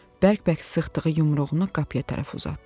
bərk-bərk sıxdığı yumruğunu qapıya tərəf uzatdı.